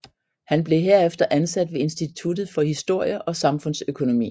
Han blev herefter ansat ved Instituttet for Historie og Samfundsøkonomi